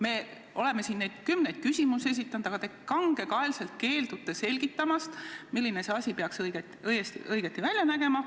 Me oleme siin neid kümneid küsimusi esitanud, aga te kangekaelselt keeldute selgitamast, milline asi peaks välja nägema.